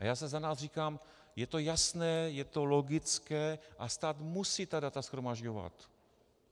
A já si za nás říkám, je to jasné, je to logické a stát musí ta data shromažďovat.